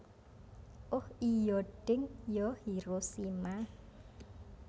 Oh iyo deng yo Hiroshima